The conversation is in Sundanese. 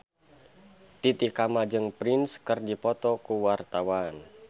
Titi Kamal jeung Prince keur dipoto ku wartawan